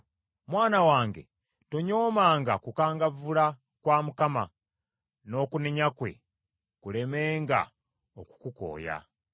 Mwana wange tonyoomanga kukangavvula kwa Mukama , n’okunenya kwe kulemenga okukukooya,